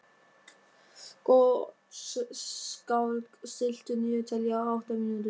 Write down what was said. Gottskálk, stilltu niðurteljara á átta mínútur.